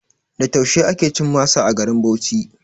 Da taushe ake cin masa a garin Bauchi